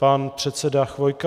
Pan předseda Chvojka.